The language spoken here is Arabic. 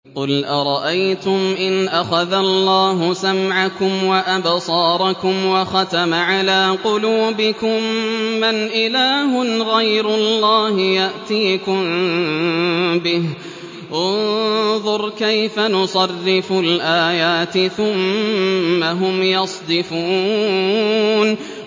قُلْ أَرَأَيْتُمْ إِنْ أَخَذَ اللَّهُ سَمْعَكُمْ وَأَبْصَارَكُمْ وَخَتَمَ عَلَىٰ قُلُوبِكُم مَّنْ إِلَٰهٌ غَيْرُ اللَّهِ يَأْتِيكُم بِهِ ۗ انظُرْ كَيْفَ نُصَرِّفُ الْآيَاتِ ثُمَّ هُمْ يَصْدِفُونَ